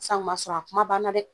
Si san kuma sɔrɔ a kuma banna dɛ.